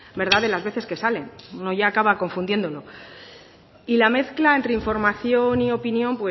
verdad de las veces que sale uno ya acaba confundiéndolo y la mezcla entre información y opinión